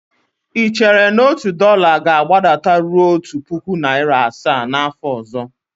Ị chere na otu dọla ga-agbadataruo otu puku naịra asaa n'afọ ọzọ?